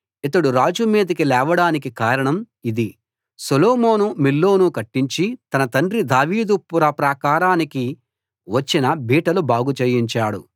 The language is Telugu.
ఇతడు రాజు మీదికి లేవడానికి కారణం ఇది సొలొమోను మిల్లోను కట్టించి తన తండ్రి దావీదు పుర ప్రాకారానికి వచ్చిన బీటలు బాగు చేయించాడు